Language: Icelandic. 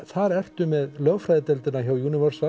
þar ertu með lögfræðideildina hjá